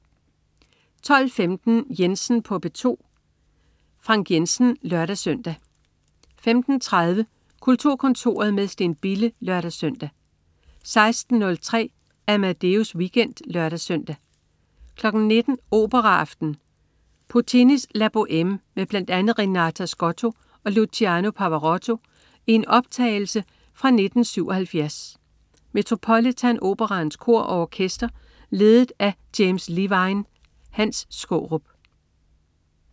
12.15 Jensen på P2. Frank Jensen (lør-søn) 15.30 Kulturkontoret med Steen Bille (lør-søn) 16.03 Amadeus Weekend (lør-søn) 19.00 Operaaften. Puccinis La Bohème med bl.a. Renata Scotto og Luciano Pavarotti i en optagelse fra 1977. Metropolitan Operaens Kor og Orkester ledet af James Levine. Hans Skaarup